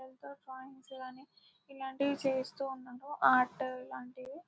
Crops ఇలాంటివి చేస్తూ ఉంటాము ఆర్ట్స్ లాంటివి.